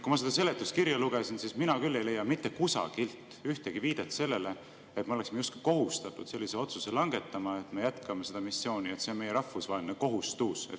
Kui ma seda seletuskirja lugesin, siis mina küll ei leidnud mitte kusagilt ühtegi viidet sellele, et me oleksime justkui kohustatud langetama sellise otsuse, et me jätkame seda missiooni, sest see on meie rahvusvaheline kohustus.